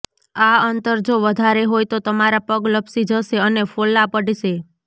આ અંતર જો વધારે હોય તો તમારા પગ લપસી જશે અને ફોલ્લા પડશે